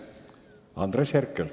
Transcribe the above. Andres Herkel.